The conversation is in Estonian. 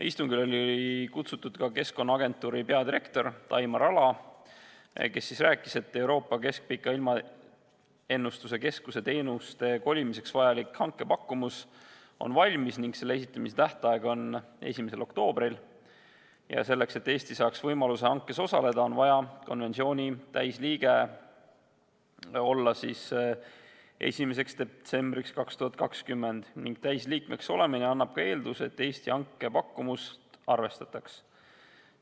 Istungile oli kutsutud ka Keskkonnaagentuuri peadirektor Taimar Ala, kes rääkis, et Euroopa Keskpika Ilmaennustuse Keskuse teenuste kolimiseks vajalik hankepakkumus on valmis ning selle esitamise tähtaeg on 1. oktoobril, ja selleks, et Eesti saaks võimaluse hankes osaleda, on vaja konventsiooni täisliige olla 1. detsembriks 2020 ning täisliikmeks olemine annab eelduse, et Eesti hankepakkumust arvestataks.